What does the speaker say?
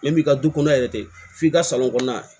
Yan'i ka du kɔnɔ yɛrɛ tɛ f'i ka salon kɔnɔ yan